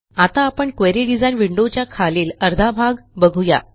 आता आपण query design विंडोच्या खालील अर्धा भाग बघू या